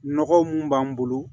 Nɔgɔ mun b'an bolo